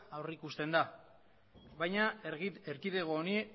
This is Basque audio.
aurreikusten da baina erkidego honi